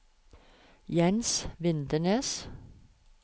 Jens Vindenes